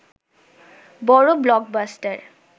বড় ব্লকবাস্টার